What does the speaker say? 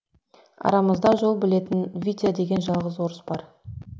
арамызда жол білетін витя деген жалғыз орыс бар